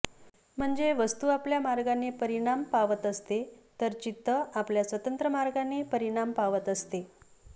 म्हणजे वस्तू आपल्या मार्गाने परिणाम पावत असते तर चित्त आपल्या स्वतंत्र मार्गाने परिणाम पावत असते